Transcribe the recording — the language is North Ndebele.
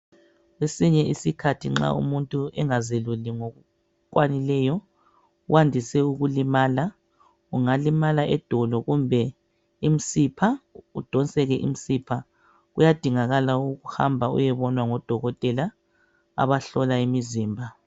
Kwesinye isikhathi nxa umuntu engazeluli ngokukwanileyo uwandise ukulimala. Ungalimala edolo kumbe imisipha udonseke imisipha. Kuyadingakala ukuhamba uyebonwa ngodokotela abahlola imizimba.